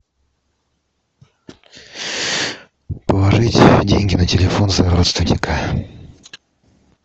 положить деньги на телефон за родственника